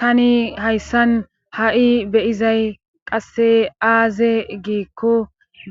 tani hayssan ha'i beyizay qasse aaze giikko